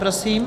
Prosím.